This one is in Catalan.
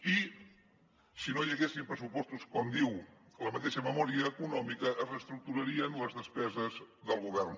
i si no hi haguessin pressupostos com diu la mateixa memòria econòmica es reestructurarien les despeses del govern